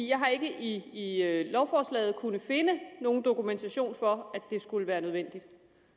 jeg har ikke i lovforslaget kunnet finde nogen dokumentation for at det skulle være nødvendigt